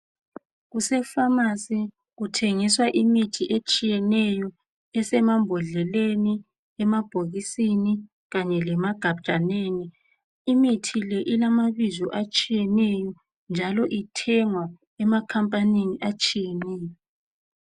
Kusefamasi, kutshengiswa imithi etshiyeneyo esemambodleleni emabhokisini kanye lasemagajaneni. Imithi ilamabizo atshiyeneyo njalo ithengwa emakhampanini atshiyeneyo.